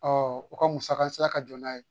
u ka musaka sara ka jɔ n'a ye